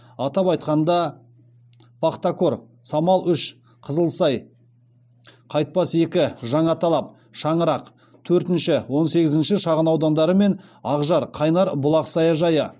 атап айтқанда пахтакор самал үш қызылсай кайтпас екі жаңаталап шаңырақ төртінші он сегізінші шағын аудандары мен акжар қайнар бұлақ саяжайы